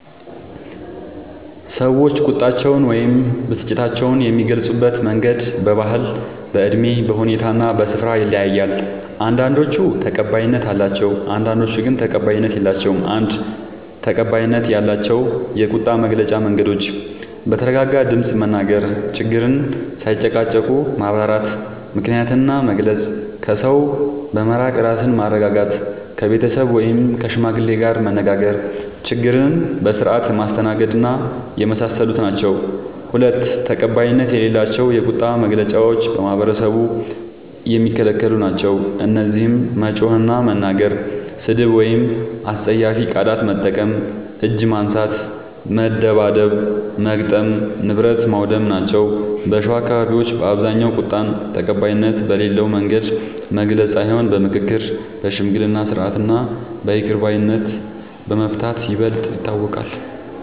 ሰዎች ቁጣቸውን ወይም ብስጭታቸውን የሚገልጹበት መንገድ በባህል፣ በእድሜ፣ በሁኔታ እና በስፍራ ይለያያል። አንዳንዶቹ ተቀባይነት አላቸው፣ አንዳንዶቹ ግን ተቀባይነት የላቸዉም። ፩. ተቀባይነት ያላቸው የቁጣ መግለጫ መንገዶች፦ በተረጋጋ ድምፅ መናገር፣ ችግርን ሳይጨቃጨቁ ማብራራት፣ ምክንያትን መግለጽ፣ ከሰው በመራቅ ራስን ማረጋጋት፣ ከቤተሰብ ወይም ከሽማግሌ ጋር መነጋገር፣ ችግርን በስርዓት ማስተናገድና የመሳሰሉት ናቸዉ። ፪. ተቀባይነት የሌላቸው የቁጣ መግለጫዎች በማህበረሰቡ የሚከለክሉ ናቸዉ። እነዚህም መጮህ እና መናገር፣ ስድብ ወይም አስጸያፊ ቃላት መጠቀም፣ እጅ ማንሳት (መደብደብ/መግጠም) ፣ ንብረት ማዉደም ናቸዉ። በሸዋ አካባቢዎች በአብዛኛዉ ቁጣን ተቀባይነት በሌለዉ መንገድ መግለጽ ሳይሆን በምክክር፣ በሽምግልና ስርዓት እና በይቅር ባይነት በመፍታት ይበልጥ ይታወቃል።